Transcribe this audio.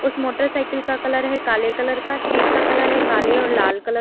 उस मोटरसाइकिल का कलर है काले कलर का। सीट का कलर है काले और लाल कलर --